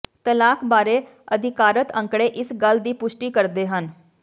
ਤਲਾਕ ਬਾਰੇ ਅਧਿਕਾਰਤ ਅੰਕੜੇ ਇਸ ਗੱਲ ਦੀ ਪੁਸ਼ਟੀ ਕਰਦੇ ਹਨ